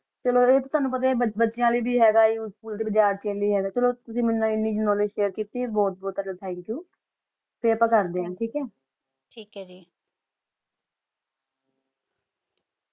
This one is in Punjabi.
ਚਲੋ ਆ ਤਾ ਟੋਨੋ ਪਤਾ ਆ ਕਾ ਬਚਾ ਲੀ ਵੀ ਹ ਗਾ ਆ ਉਸੇਫੁਲ ਤਾ ਚਲੋ ਤੁਸੀਂ ਮੇਨੋ ਆਨੀ ਕ੍ਨੋਵ੍ਲੇਦ੍ਗੇ ਦਿਤੀ ਆ ਬੋਹਤ ਬੋਹਤ ਟੋਹੜਾ ਠੰਕ੍ਯੋਊ ਫਿਰ ਅਪਾ ਕਰ ਦਾ ਆ ਥਕ ਹ ਥਕ ਆ ਜੀ